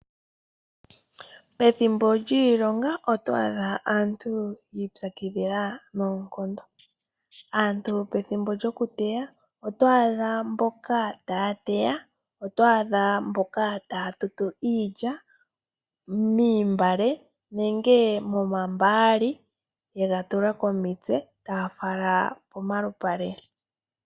Pethimbo lyiilonga otwaadha aantu yiipyakidhila noonkondo, aantu pethimbo lyo kuteya otwaadha mboka taa teya otwaadha mboka taa tutu iilya mootungwa nenge momambaali yega tula komitse taa fala komalupale.